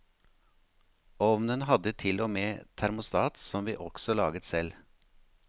Ovnen hadde til og med termostat som vi også laget selv.